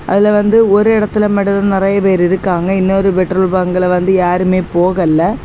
அதுல வந்து ஒரு இடத்துல மட்டும் தா நறைய பேர் இருக்காங்க இன்னொரு பெட்ரோல் பங்கில வந்து யாருமே போகல்ல.